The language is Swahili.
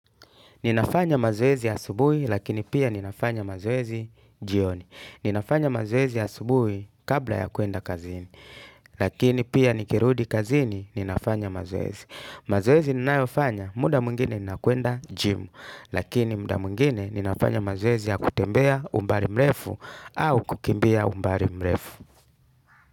Ninafanya mazoezi asubuhi lakini pia ninafanya mazoezi jioni. Ninafanya mazoezi asubuhi kabla ya kuenda kazini. Lakini pia nikirudi kazini ninafanya mazoezi. Mazoezi ninayofanya muda mwingine nina kwenda jimu. Lakini muda mwingine ninafanya mazoezi ya kutembea umbali mrefu au kukimbia umbali mrefu.